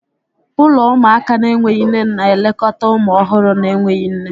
Ụlọ ụmụaka na-enweghị nne na-elekọta ụmụ ọhụrụ na-enweghị nne.